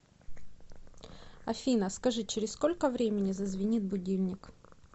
афина скажи через сколько времени зазвенит будильник